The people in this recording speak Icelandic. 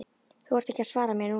Þú þarft ekki að svara mér núna.